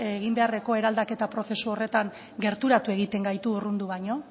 egin beharreko eraldaketa prozesu horretan gerturatu egiten gaitu urrundu baino